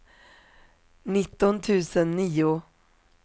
nitton tusen nio